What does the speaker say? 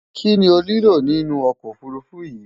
Kíni o nílò nínu okò ofurufu yí?